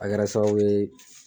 A kɛra sababu ye